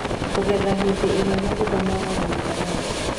Kũgetha - hĩndĩ ĩrĩa matunda magarũrũkaga rangi